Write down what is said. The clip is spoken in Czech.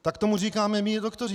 Tak tomu říkáme my doktoři.